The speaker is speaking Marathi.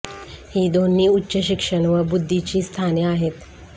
हि दोन्ही उच्च शिक्षण व बुद्धी ची स्थाने आहेत